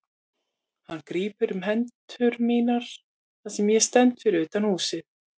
Hann grípur um hendur mínar þar sem ég stend fyrir utan húsið.